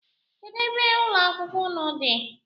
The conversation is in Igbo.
Kedụ ebe ụlọakwụkwọ unu dị?